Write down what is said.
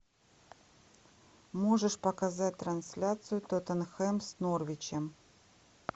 можешь показать трансляцию тоттенхэм с норвичем